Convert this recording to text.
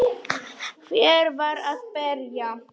Hver var að berja?